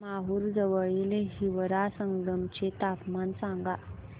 माहूर जवळील हिवरा संगम चे तापमान सांगा